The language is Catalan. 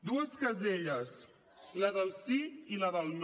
dues caselles la del sí i la del no